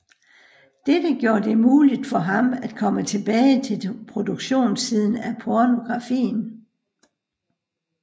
Dette gjorde det muligt for ham at komme tilbage til produktionssiden af pornografien